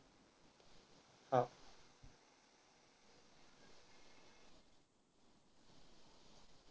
हा.